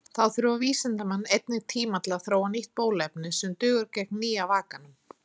Þá þurfa vísindamenn einnig tíma til að þróa nýtt bóluefni sem dugar gegn nýja vakanum.